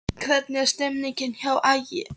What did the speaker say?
Hvernig er stemningin hjá Ægi?